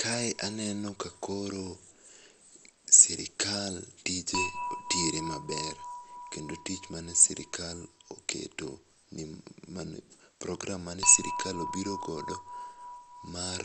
Kae aneno ka koro sirkal tije tire maber kendo tich mane sirkal oketo program mane sirkal obiro godo mar